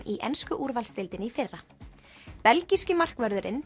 í ensku úrvalsdeildinni í fyrra belgíski markvörðurinn